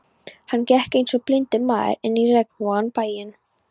Hann gekk einsog blindur maður inn í regnvotan bæinn.